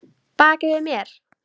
Baki við mér?